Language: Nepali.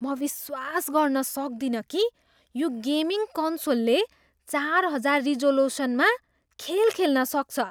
म विश्वास गर्न सक्दिन कि यो गेमिङ कन्सोलले चारहजार रिजोलुसनमा खेल खेल्न सक्छ।